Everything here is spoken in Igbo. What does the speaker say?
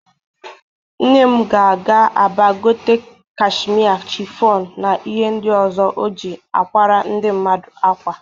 Nne m ga-aga Aba igote kashmie, chịfọnụ na ihe ndị ọzọ o ji akwara ndị mmadụ ákwà.